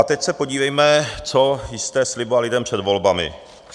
A teď se podívejme, co jste slibovali lidem před volbami.